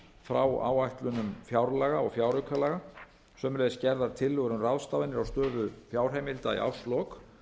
frá áætlunum fjárlaga og fjáraukalaga og gerðar tillögur um ráðstafanir á stöðu fjárheimilda í árslok